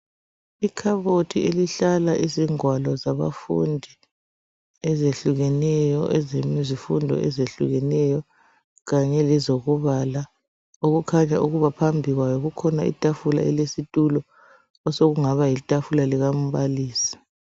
Ikhabothi elihlala izingwalo zabafundi ezehlukeneyo ezezifundo ezehlukeneyo kanye lezokubala. Okukhanya ukuba phambi kwayo kulelinye itafula elesitulo osokungaba litafula likambalisi.